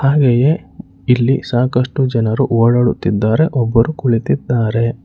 ಹಾಗೆಯೇ ಇಲ್ಲಿ ಸಾಕಷ್ಟು ಜನರು ಓಡಾಡುತ್ತಿದ್ದಾರೆ ಒಬ್ಬರು ಕುಳಿತಿದ್ದಾರೆ.